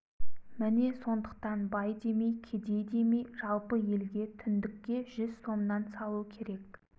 міне сондықтан бай демей кедей демей жалпы елге түндікке жүз сомнан салу керек